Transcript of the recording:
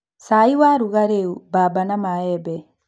cai, warungariũ, bamba na maembe.